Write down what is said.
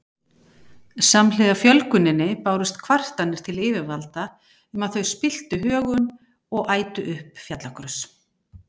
Samhliða fjölguninni bárust kvartanir til yfirvalda um að þau spilltu högum og ætu upp fjallagrös.